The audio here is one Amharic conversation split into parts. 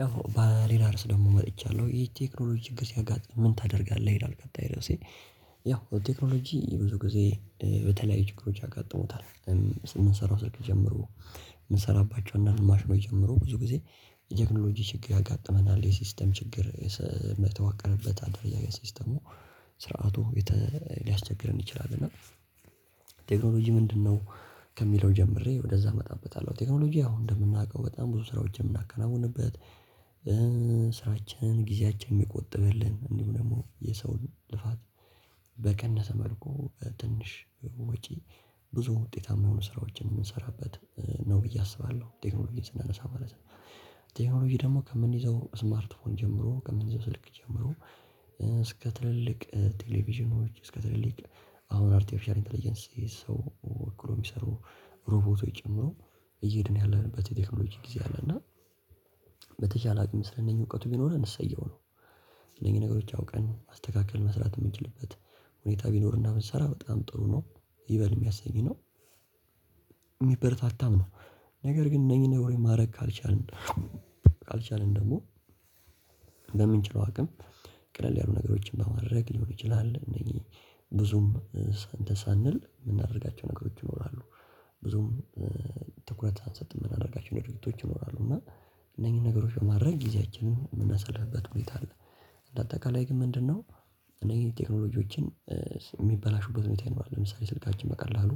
ያው በሌላ ርዕስ ደግሞ መጥቻለሁ የቴክኖሎጂ ችግር ሲያጋጥም ምን ታደርጋለህ ይላል? ቀጣይ ርዕሴ ያው ቴክኖሎጂ ብዙ ጊዜ በተለያዩ ችግሮች አጋጥመታል። ምንሰራው ስልክ ጀመሮ። አንዳንድ ማሽኖች ጀምሮ ብዙ ጊዜ የቴክኖሎጂ ችግር ያጋጥመናል የሲስተም ችግር መተዋቀርበት አደረጃጀት ሲስተሙ ስርዓቱ ሊያስቸግረን ይችላል። እና ቴክኖሎጂ ምንድነው? ከሚለው ጀምሬ ወደዛ እመጣበታለሁ። ቴክኖሎጂ ያው እንደምናውቀው በጣም ብዙ ስራዎችን የምናከናውንበት ስራችንን ጊዜያችንን የሚቆጥብልን እንዲሁ ደግሞ የሰውን ልፋት። በቀነሰ መልኩ ትንሽ ወጪ ብዙ ውጤታማ የሆኑ ስራዎችን የምንሰራበት ነው ብዬ አስባለሁ ቴክኖሎጂን ስናነሳ ማለት ነው። ቴክኖሎጂ ደግሞ ከምንይዘው ስማርትፎን ጀምሮ ከምንይዘው ስልክ ጀምሮ እስከ ትልልቅ ቴሌቪዥኖች እስከ ትልልቅ አሁን አርቲፊሻል ኢንተለጀንሲ ሰው ወክሎ የሚሰሩ ሮቦቶች ጨምሮ እየሄድን ያለንበት የቴክኖሎጂ ጊዜ አለ። እና በተቻለ አቅም ስለኒህ እውቀቱ ቢኖረን እሰየው ነው። እነኚን ነገሮች አውቀን ማስተካከል መስራት ምንችልበት ሁኔታ ቢኖርና ብንሰራ በጣም ጥሩ ነው። ይበል የሚያሰኝ ነው። ሚበረታታም ነው። ነገር ግን እነኚህን ነገሮች ማድረግ ካልቻልን ካልቻልን ደግሞ በምንችለው አቅም ቀለል ያሉ ነገሮችን በማድረግ ሊሆን ይችላል እነኚህ ብዙም እንትን ሳንል የምናደርጋቸው ነገሮች ይኖራሉ። ብዙም ትኩረት ሳንሰጥ የምናደርጋቸው ድርጊቶች ይኖራሉ እና እነኚህን ነገሮች በማድረግ ጊዜያችንን የምናሳልፍበት ሁኔታ አለ። በአጠቃላይ ግን ምንድነው እኔ ቴክኖሎጂዎችን የሚበላሹበት ሁኔታ ይኖራል። ለምሳሌ ስልካችን በቀላሉ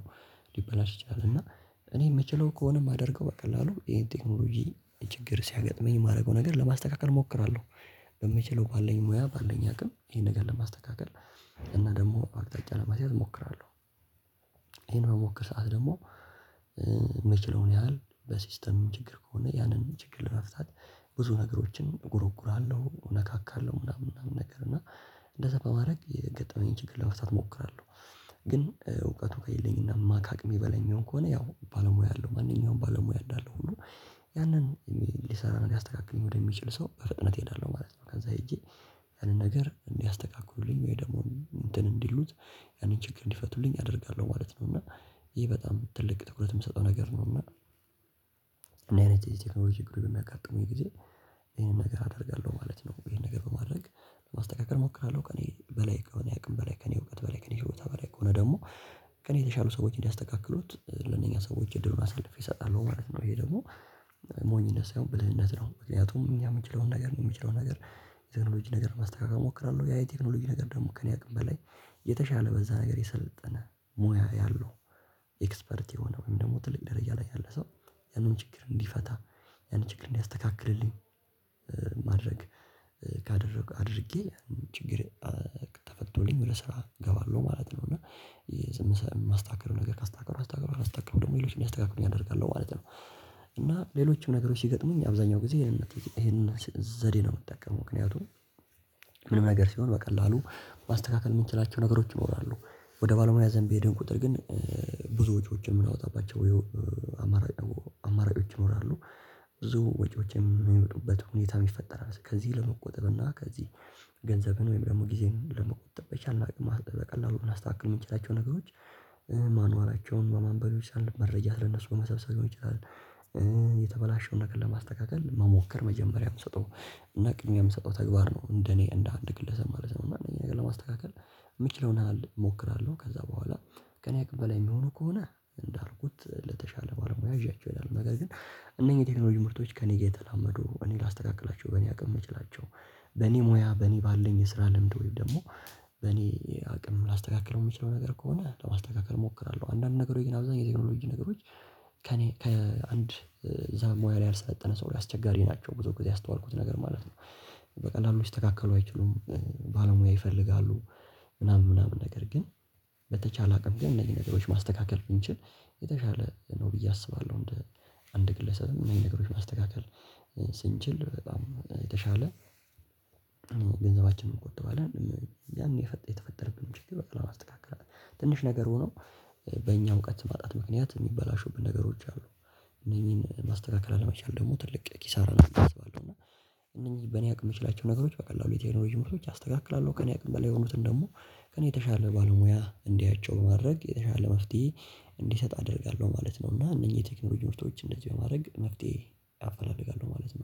ሊበላሽ ይችላል እና እኔ የምችለው ከሆነ የማደርገው በቀላሉ ይሄን ቴክኖሎጂ ችግር ሲያጋጥመኝ የማደርገው ነገር ለማስተካከል እሞክራለሁ። በምችለው ባለኝ ሙያ ባለኝ አቅም ይሄን ነገር ለማስተካከል እና ደሞ አቅጣጫ ለማስያዝ እሞክራለሁ። ይሄን በምሞክር ሰዓት ደግሞ የምችለውን ያህል በሲስተም ችግር ከሆነ ያንን ችግር ለመፍታት ብዙ ነገሮችን እጎሮጉራለሁ እነካካለሁ ምናምን ምናምን ነገር እና እንደዛ በማድረግ የገጠመኝን ችግር ለመፍታት እሞክራለሁ። ግን እውቀቱ ከሌለኝና ማካቅሜ የሚሆን ከሆነ ያው ባለሙያ አለው ማንኛውም ባለሙያ አለው ሁሉ ያንን ሊሰራ ሊያስተካክለኝ ወደሚችል ሰው በፍጥነት እሄዳለሁ ማለት ነው። ከዛ ሄጄ ያንን ነገር እንዲያስተካክሉልኝ ወይ ደግሞ እንትን እንዲሉት ያንን ችግር እንዲፈቱልኝ አደርጋለሁ ማለት ነው። እና ይሄ በጣም ትልቅ ትኩረት የምትሰጠው ነገር ነው። እና እንዲ አይነት የቴክኖሎጂ ችግሮች በሚያጋጥሙኝ ጊዜ ይሄንን ነገር አደርጋለሁ ማለት ነው። ይሄንን ነገር በማድረግ ማስተካከል እሞክራለሁ ከእኔ በላይ ከእኔ አቅም በላይ ከእኔ እውቀት በላይ ከእኔ ችሎታ በላይ ከሆነ ደግሞ ከእኔ የተሻሉ ሰዎች እንዲያስተካክሉት ለእነኛ ሰዎች እድሉን አሳልፌ እሰጣለሁ ማለት ነው። ይሄ ደግሞ ሞኝነት ሳይሆን ብልህነት ነው። ምክንያቱም እኛ ምንችለውን ነገር እኔ ምችለውን ነገር ቴክኖሎጂ ነገር ማስተካከል እሞክራለሁ ያ የቴክኖሎጂ ነገር ደግሞ ከእኔ አቅም በላይ የተሻለ በዛ ነገር የሰለጠነ ሙያ ያለው ኤክስፐርት የሆነ ወይም ደግሞ ትልቅ ደረጃ ላይ ያለ ሰው ያንን ችግር እንዲፈታ ያንን ችግር እንዲያስተካክልልኝ። ማድረግ ካደረግክ አድርጌ ችግር ተፈቶልኝ ወደ ስራ እገባለሁ ማለት ነው። እና የስምንት ሰዓት ማስታከር ነገር ካስተካከሉ ደግሞ ሌሎችን እንዲያስተካክሉልኝ አደርጋለሁ ማለት ነው። እና ሌሎችም ነገሮች ሲገጥሙኝ አብዛኛው ጊዜ ይሄንን ዘዴ ነው የምጠቀመው ምክንያቱም። ምንም ነገር ሲሆን በቀላሉ ማስተካከል የምንችላቸው ነገሮች ይኖራሉ። ወደ ባልመያ ዘንድ በሄድን ቁጥር ግን ብዙ ወጪዎችን የምናወጣባቸው አማራጮች ይኖራሉ ብዙ ወጪዎችን የሚመጡበት ሁኔታ የሚፈጠር አለ። ከዚህ ለመቆጠብ እና ከዚህ ገንዘብህን ወይም ደግሞ ጊዜህን ለመቆጠብ በቻልነው አቅም በቀላሉ ልናስተካክል የምንችላቸው ነገሮች ማኗላቸውን በማንበብ ሊሆን ይችላል። መረጃ ስለ እነሱ በመሰብሰብ ሊሆን ይችላል። የተበላሸውን ነገር ለማስተካከል መሞከር መጀመሪያ የምሰጠው እና ቅድሚያ የምሰጠው ተግባር ነው እንደ እኔ እንደ አንድ ግለሰብ ማለት ነው። እና እኔ ለማስተካከል የምችለውን ያህል እሞክራለሁ እና ከዛ በኋላ ከእኔ አቅም በላይ የሚሆኑ ከሆነ እንዳልኩት ለተሻለ ባለሙያ ይጃቼው እሄዳለሁ። ነገር ግን እነዚህ የቴክኖሎጂ ምርቶች ከእኔ የተላመዱ በእኔ አቅም ላስተካክላቸው የምችላቸው በኔ ሙያ በኔ ባለኝ የስራ ለምድ ወይም ደግሞ በእኔ አቅም ላስተካክለው የምችለው ከሆነ ለማስተካከል እሞክራለሁ። አንዳንድ ጊዜ ግን አብዛኛው ቴክኖሎጂ ነገሮች ከእኔ ከአንድ በዛ ሙያ ካልሰለጠነ ሰው አሰቸጋሪ ናቸው ብዙ ጊዜ ያሰተዋልኩት ማለት ነው። በቀላሉ ሊሰተካከሉ አይችሉም። ባለሙያ ይፈልጋሉ። ምናምን ነገር ግን በተቻለ አቅም ግን እነዚህን ነገሮች ማስተካከል ብንችል የተሻለ ነው ብዬ አስባለሁ። እንደ አንድ ግለሰብም እኒህን ነገሮች ማስተካከል ስንችል በጣም የተሻለ ገንዘባችንን እንቆጥባለን። ያን የተፈጠርብንን ችግር በቀላሉ ማስተካከል ትንሽ ነገር ሆኖ በእኛው እውቀት ማጣት ምክንያት የሚበላሹብን ነገሮች አሉ እነኚህን ማስተካከል አለመቻል ደግሞ ትልቅ ኪሳራ ነው። አስባለሁ እና እንደዚህ በኔ አቅም የምችላቸው ነገሮች በቀላሉ የተበላሹ ነገሮችን አስተካክላለሁ። ከእኔ አቅም በላይ የሆኑትን ደግሞ ከእኔ የተሻለ ባለሙያ እንዲያያቸው በማድረግ የተሻለ መፍትሄ እንዲሰጥ አደርጋለሁ ማለት ነው። እና እነኚህ የቴክኖሎጂ ምርቶች እንደዚህ በማድረግ መፍትሄ አፈላልጋለሁ ማለት ነው።